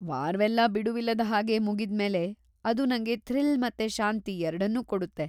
ವಾರವೆಲ್ಲ ಬಿಡುವಿಲ್ಲದ ಹಾಗೆ ಮುಗಿದ್ಮೇಲೆ ಅದು ನಂಗೆ ಥ್ರಿಲ್‌ ಮತ್ತೆ ಶಾಂತಿ ಎರಡನ್ನೂ ಕೊಡುತ್ತೆ.